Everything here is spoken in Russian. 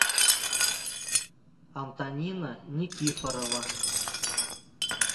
антонина никифорова